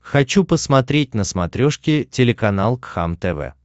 хочу посмотреть на смотрешке телеканал кхлм тв